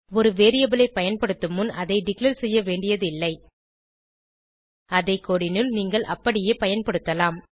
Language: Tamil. ஒரு வேரியபிள் ஐ பயன்படுத்தும் முன் அதை டிக்ளேர் செய்ய வேண்டியது இல்லை அதை கோடு னுள் நீங்கள் அப்படியே பயன்படுத்தலாம்